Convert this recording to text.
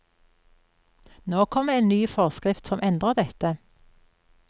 Nå kommer en ny forskrift som endrer dette.